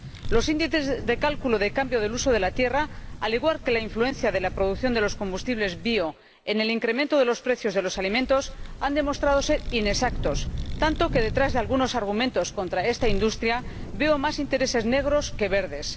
Los índices de cálculo del cambio del uso de la tierra, al igual que la influencia de la producción de los biocombustibles en el incremento de los precios de los alimentos, han demostrado ser inexactos, tanto que, detrás de algunos argumentos contra esta industria, veo más intereses negros que verdes.